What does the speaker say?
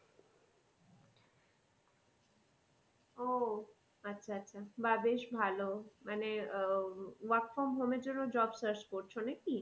ও আচ্ছা আচ্ছা বা বেশ ভালো মানে আহ work from home এর জন্য job search করছো নাকি?